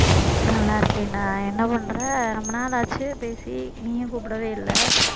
நல்லா இருக்கேன்டா என்ன பண்ற ரொம்ப நாள் ஆச்சு பேசி நீயும் கூப்பிடவே இல்லை